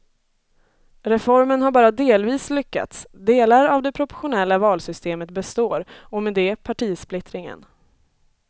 Reformen har bara delvis lyckats, delar av det proportionella valsystemet består och med det partisplittringen.